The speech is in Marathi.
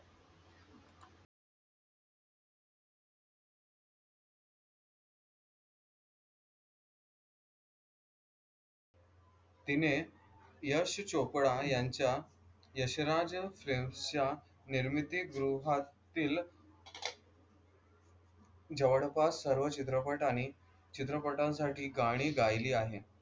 तिने यश चोप्रा यांच्या यशराज फिल्म या निर्मितीगृहातील जवळपास सर्व चित्रपट आणि चित्रपटांसाठी गाणी गायली आहेत.